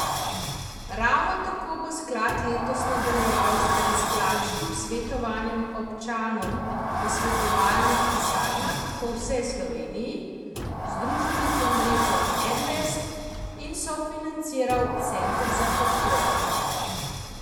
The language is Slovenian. Ravno tako bo sklad letos nadaljeval z brezplačnim svetovanjem občanom v svetovalnih pisarnah po vsej Sloveniji, združenih v mrežo Ensvet, in sofinanciral Center za podpore.